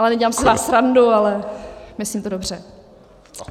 Ale nedělám si z vás srandu, ale myslím to dobře.